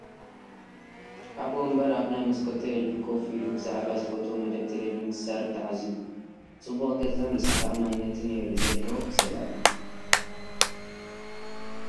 ኣብ ወንበር/ ኣብ ናይ መስኮት ቴሌቪዥን ኮፍ ኢሉ ብዛዕባ ዝፈትዎ መደብ ተለቪዥን ክዛረብ ተዓዛቢ ጽቡቕ ገጽን ርእሰ ተኣማንነትን የርኢ ዘሎ ሰብኣይ እዩ።